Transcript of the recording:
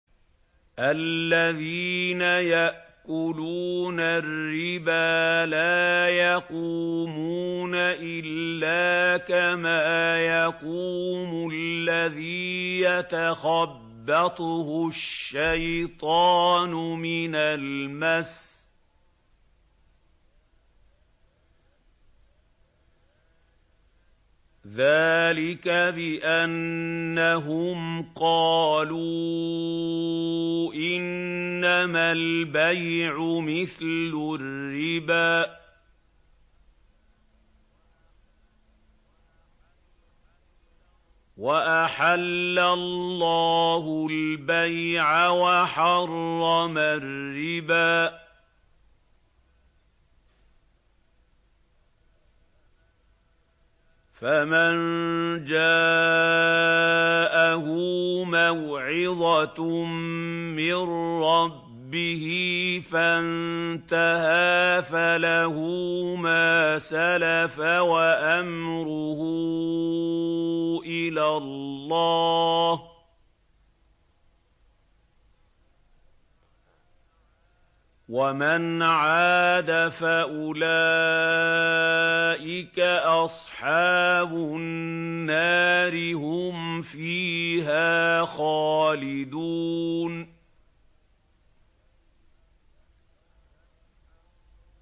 الَّذِينَ يَأْكُلُونَ الرِّبَا لَا يَقُومُونَ إِلَّا كَمَا يَقُومُ الَّذِي يَتَخَبَّطُهُ الشَّيْطَانُ مِنَ الْمَسِّ ۚ ذَٰلِكَ بِأَنَّهُمْ قَالُوا إِنَّمَا الْبَيْعُ مِثْلُ الرِّبَا ۗ وَأَحَلَّ اللَّهُ الْبَيْعَ وَحَرَّمَ الرِّبَا ۚ فَمَن جَاءَهُ مَوْعِظَةٌ مِّن رَّبِّهِ فَانتَهَىٰ فَلَهُ مَا سَلَفَ وَأَمْرُهُ إِلَى اللَّهِ ۖ وَمَنْ عَادَ فَأُولَٰئِكَ أَصْحَابُ النَّارِ ۖ هُمْ فِيهَا خَالِدُونَ